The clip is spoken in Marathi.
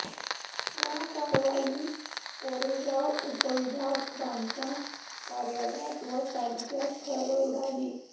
या कारवाई कोरेगाव उपविभाग बांधकाम कार्यालयात व तालुक्यात खळबळ उडाली